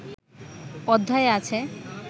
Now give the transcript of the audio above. অধ্যায়ে আছে